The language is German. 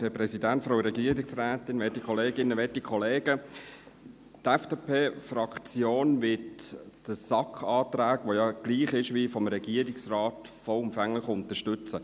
Die FDP-Fraktion wird den SAK-Antrag, der ja gleich ist wie jener des Regierungsrates, vollumfänglich unterstützen.